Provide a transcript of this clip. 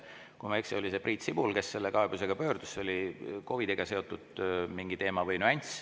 Kui ma ei eksi, oli see Priit Sibul, kes selle kaebusega pöördus, see oli mingi COVID‑iga seotud teema või nüanss.